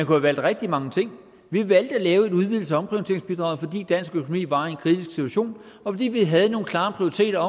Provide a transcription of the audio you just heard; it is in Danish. have valgt rigtig mange ting vi valgte at lave en udvidelse af omprioriteringsbidraget fordi dansk økonomi var i en kritisk situation og fordi vi havde nogle klare prioriteter